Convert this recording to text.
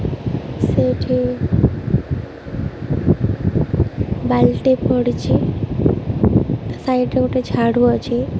ସେଇଠି ବାଲ୍ଟି ପଡ଼ିଛି ସାଇଡ୍ ରେ ଗୋଟେ ଝାଡୁ ଅଛି।